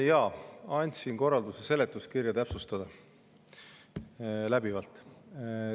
Jaa, andsin korralduse seletuskirja läbivalt täpsustada.